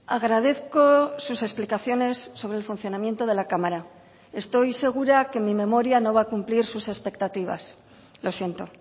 agradezco sus explicaciones sobre el funcionamiento de la cámara estoy segura que mi memoria no va a cumplir sus expectativas lo siento